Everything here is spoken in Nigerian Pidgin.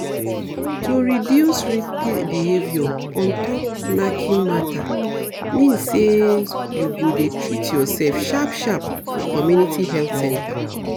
to reduce risky behavior ontop knacking matter mean say you go dey treat yourself sharp sharp for community health centre